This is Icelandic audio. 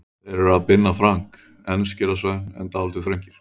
Þeir eru af Binna Frank, enskir að sögn en dálítið þröngir.